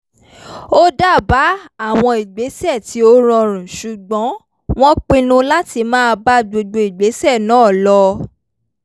ó dábàá àwọn ìgbésẹ̀ tí ó rọrùn ṣùgbọ́n wọ́n pinnu láti máa bá gbogbo ìgbésẹ̀ náà lọ